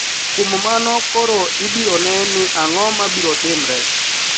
Kuom mano koro ibiro ne ni ang`o ma biro timre